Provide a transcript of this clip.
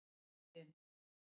Kristin